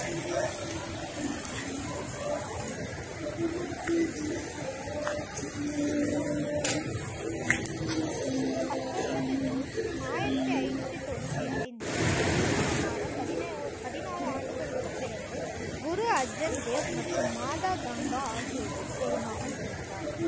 பத்தொன்பது ஜூன் ஆயிரத்தி ஐநூற்றி தொண்ணூத்தி ஐந்தில் திருமணமான பதினா~ பதினாறு ஆண்டுகளுக்குப் பிறகு குரு அர்ஜன் தேவ் மற்றும் மாதா கங்கா ஆகியோருக்கு ஒரு மகன் பிறந்தார்